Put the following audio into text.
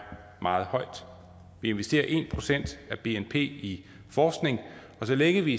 meget højt vi investerer en procent af bnp i forskning og så længe vi